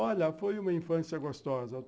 Olha, foi uma infância gostosa.